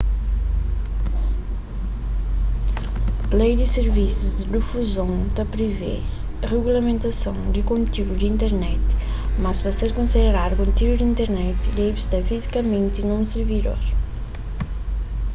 lei di sirvisus di difuzon ta privê rigulamentason di kontiúdu di internet mas pa ser konsideradu kontiúdu di internet debe sta fizikamenti na un sirvidor